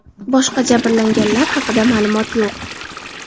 Boshqa jabrlanganlar haqida ma’lumot yo‘q.